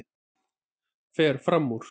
Fer fram úr.